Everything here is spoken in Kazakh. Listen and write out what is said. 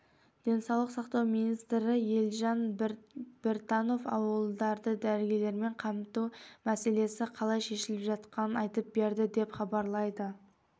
денсаулық сақтау министрі елжан біртанов ауылдарды дәрігерлермен қамту мәселесі қалай шешіліп жатқанын айтып берді деп хабарлайды